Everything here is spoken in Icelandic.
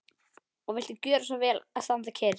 Og viltu gjöra svo vel að standa kyrr.